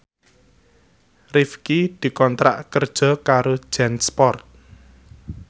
Rifqi dikontrak kerja karo Jansport